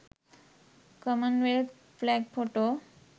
commonwealth flag photo